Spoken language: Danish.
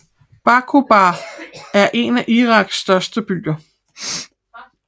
Baquba er en af Iraks større byer